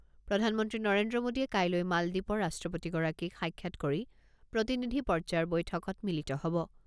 প্ৰধানমন্ত্ৰী নৰেন্দ্ৰ মোডীয়ে কাইলৈ মালদ্বীপৰ ৰাষ্ট্ৰপতিগৰাকীক সাক্ষাৎ কৰি প্ৰতিনিধি পৰ্যায়ৰ বৈঠকত মিলিত হ'ব।